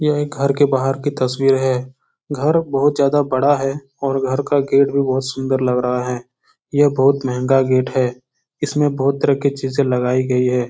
यह एक घर के बाहर की तस्वीर है। घर बहुत ज्यादा बड़ा है और घर का गेट भी बोहोत सुन्दर लग रहा है। यह बहुत मंहगा गेट है। इसमें बोहोत तरह की चीजें लगाई गयी हैं।